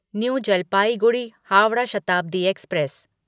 new Jalpaiguri Howrah Shatabdi express